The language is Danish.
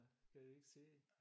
Kan vi ikke sige